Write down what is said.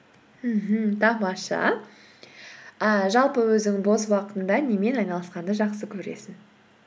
мхм тамаша ііі жалпы өзің бос уақытыңда немен айналысқанды жақсы көресің